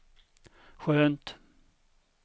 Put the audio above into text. skönt